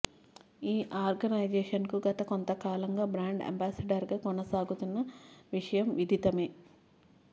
ఈ ఆర్గనైజేషన్కు గత కొంత కాలంగా బ్రాండ్ అంబాసిడర్గా కొనసాగుతున్న విషయం విధితమే